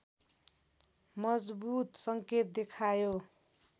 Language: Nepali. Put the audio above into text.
मजबुत सङ्केत देखायो